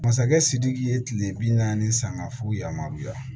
Masakɛ sidiki ye kile bi naani ni sanga f'u yamaruya